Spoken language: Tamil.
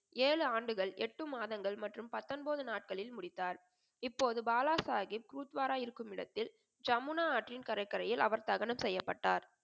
ஏழு ஆண்டுகள், எட்டு மாதங்கள் மற்றும் பத்தொன்பது நாட்களில் முடித்தார். இப்போது பாலாசாஹிப் குருத்துவார இருக்கும் இடத்தில் ஜமுனா ஆற்றில் கடற்கரையில் அவர் தகனம் செய்யப்பட்டார்.